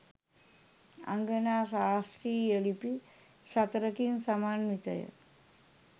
අගනා ශාස්ත්‍රීය ලිපි සතරකින් සමන්විතය.